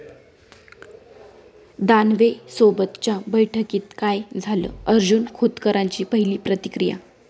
दानवेंसोबतच्या बैठकीत काय झालं? अर्जुन खोतकरांची पहिली प्रतिक्रिया